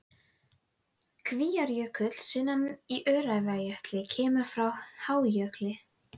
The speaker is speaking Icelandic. Kvíárjökull sunnan í Öræfajökli kemur frá hájöklinum.